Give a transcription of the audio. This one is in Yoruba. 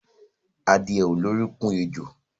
Adìẹ ò lórúnkún ẹjo.